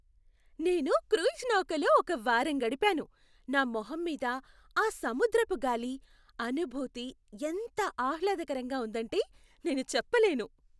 నేను క్రూయిజ్ నౌకలో ఒక వారం గడిపాను, నా మొహం మీద ఆ సముద్రపు గాలి అనుభూతి ఎంత ఆహ్లాదకరంగా ఉందంటే నేను చెప్పలేను.